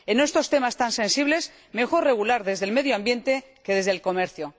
En estos temas tan sensibles, mejor regular desde el medio ambiente que desde el comercio.